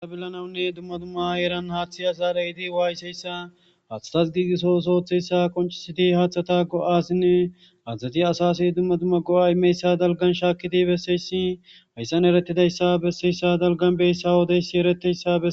aa billanawunne dumma dumma eeran haaththi azaarayiidi waaysseyssa haadhatas giigiso sooththeyssa qonchiseti haaththata go7asinne haadzadzati asasi dumma dumma go7a imeyssa dalgan shaakidi besseyssi hayssan eretidayssa besseyssa dalgan beyssa woodeyssi ereteyssae